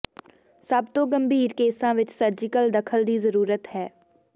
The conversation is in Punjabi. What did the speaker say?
ਸਭ ਤੋਂ ਗੰਭੀਰ ਕੇਸਾਂ ਵਿੱਚ ਸਰਜੀਕਲ ਦਖਲ ਦੀ ਜ਼ਰੂਰਤ ਹੈ